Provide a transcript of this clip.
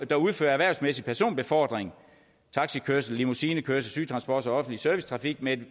der udfører erhvervsmæssig personbefordring taxikørsel limousinekørsel sygetransport og offentlig servicetrafik med